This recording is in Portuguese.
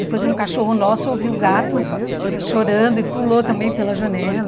Depois um cachorro nosso ouviu o gato chorando e pulou também pela janela.